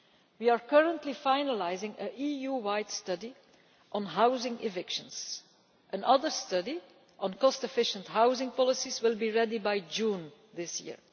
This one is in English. We are currently finalising an EU-wide study on housing evictions. Another study on cost-efficient housing policies will be ready by June this